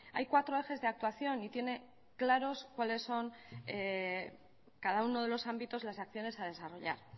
hay cuatro ejes de actuación y tienen claros cuáles son cada uno de los ámbitos de las acciones a desarrollar